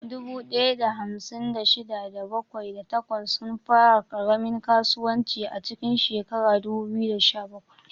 Dubu ɗaya da hamsin da shida, da bakwai, da takwas sun fara ƙaramin kasuwanci a cikin shekarar 2017.